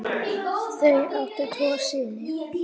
Þau áttu tvo syni.